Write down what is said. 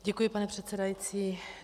Děkuji, pane předsedající.